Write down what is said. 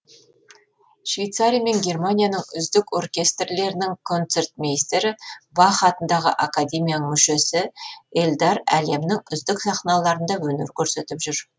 швейцария мен германияның үздік оркестрлерінің концертмейстері бах атындағы академияның мүшесі эльдар әлемнің үздік сахналарында өнер көрсетіп жүр